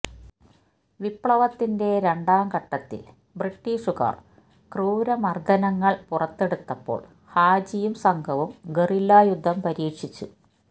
വിപ്ലവത്തിന്റെ രണ്ടാം ഘട്ടത്തില് ബ്രിട്ടീഷുകാര് ക്രൂരമര്ദനങ്ങള് പുറത്തെടുത്തപ്പോള് ഹാജിയും സംഘവും ഗറില്ലായുദ്ധം പരീക്ഷിച്ചു